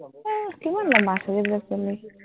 আহ কিমান লম্বা চুলি তোৰ?